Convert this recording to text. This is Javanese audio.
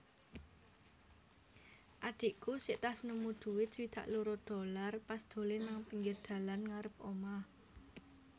adhiku sektas nemu duit swidak loro dolar pas dolen nang pinggir dalan ngarep omah